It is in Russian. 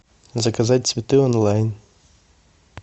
заказать цветы онлайн